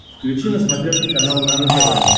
включи на смотрешке канал нано тв